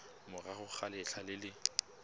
morago ga letlha le le